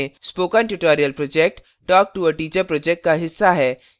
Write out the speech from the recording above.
spoken tutorial project talktoa teacher project का हिस्सा है